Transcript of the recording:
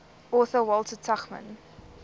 author walter tuchman